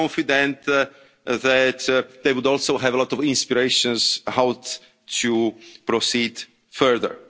But I am confident that they would also have a lot of inspiration about how to proceed